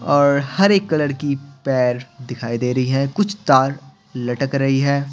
और हरेक कलर की पैर दिखाई दे रही हैं कुछ तार लटक रही है।